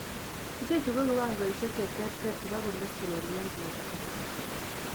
Ichechuu ko kiwangoisiek cheterter chebo cholesterol en borto